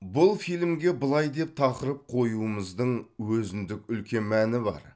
бұл фильмге былай деп тақырып қоюымыздың өзіндік үлкен мәні бар